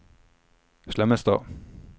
Slemmestad